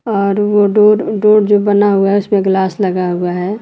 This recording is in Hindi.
और वो डोर डोर जो बना हुआ है उसमें ग्लास लगा हुआ है।